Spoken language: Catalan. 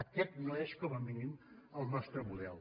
aquest no és com a mínim el nostre model